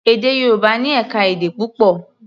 Èdè Yorùbá ní ẹ̀ka-èdè púpọ̀.